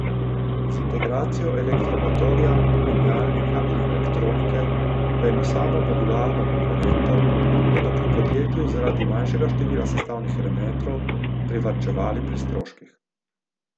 Z integracijo elektromotorja, menjalnika in elektronike v eno samo modularno komponento bodo pri podjetju zaradi manjšega števila sestavnih elementov privarčevali pri stroških.